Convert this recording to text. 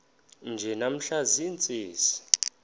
nje namhla ziintsizi